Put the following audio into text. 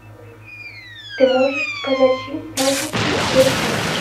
ты можешь показать фильм праздничный переполох